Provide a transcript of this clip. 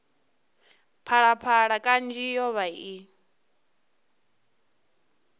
phalaphala kanzhi yo vha i